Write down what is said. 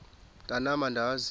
mntwan am andizi